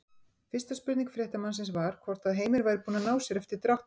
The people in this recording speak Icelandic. Fyrsta spurning fréttamannsins var hvort að Heimir væri búinn að ná sér eftir dráttinn?